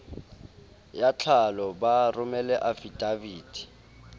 ya tlhalo ba romele afidaviti